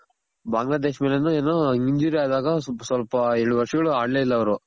ಬಾಂಗ್ಲ ದೇಶ ಮೇಲು ಏನು injury ಆದಾಗ ಸ್ವಲ್ಪ ಎರಡು ವರ್ಷಗಳು ಆಡ್ಲೇ ಇಲ್ಲ ಅವ್ರು